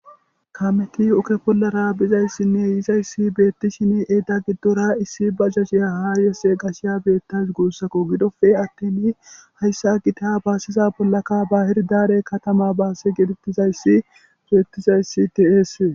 Kameti oke bollara bizayssinne yizayssi beettishin eedda giddora issi ba sashiya haayesse gashiya beettays guussakko gidofe atten hayssa gita baasiza bollaka ba hirdare katama baase gedettizayssi geettizayssi diesee